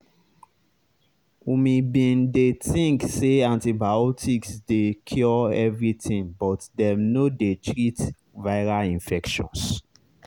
umi bin dey think say antibiotics dey cure everything but dem no dey treat viral infections